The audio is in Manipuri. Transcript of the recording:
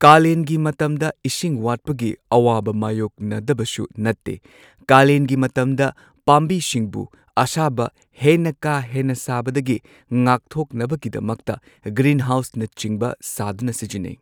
ꯀꯥꯂꯦꯟꯒꯤ ꯃꯇꯝꯗ ꯏꯁꯤꯡ ꯋꯥꯠꯄꯒꯤ ꯑꯋꯥꯕ ꯃꯥꯏꯌꯣꯛꯅꯗꯕꯁꯨ ꯅꯠꯇꯦ ꯀꯥꯂꯦꯟꯒꯤ ꯃꯇꯝꯗ ꯄꯥꯝꯕꯤꯁꯤꯡꯕꯨ ꯑꯁꯥꯕ ꯍꯦꯟꯅ ꯀꯥ ꯍꯦꯟꯅ ꯁꯥꯕꯗꯒꯤ ꯉꯥꯛꯊꯣꯛꯅꯕꯒꯤꯗꯃꯛꯇ ꯒ꯭ꯔꯤꯟꯍꯥꯎꯁꯅꯆꯤꯡꯕ ꯁꯥꯗꯨꯅ ꯁꯤꯖꯤꯟꯅꯩ꯫